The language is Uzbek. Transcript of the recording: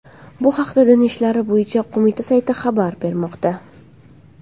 Bu haqda Din ishlari bo‘yicha qo‘mita sayti xabar bermoqda .